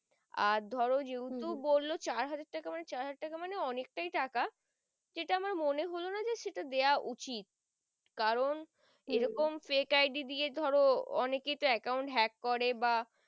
আর ধরো যেহুতু বললো চার হাজার টাকা মানে চার হাজার টাকা অনেক টাই টাকা সেটা আমার মনে হলো না যে দেয়া উচিত কারণ এরকম fake ID দিয়ে ধরো অনেক কেই তো account hack করে বা